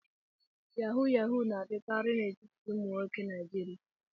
Yahoo yahoo na-adịkarị n'etiti ụmụ nwoke Naijiria.